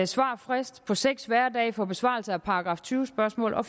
svarfrist på seks hverdage for besvarelse af § tyve spørgsmål og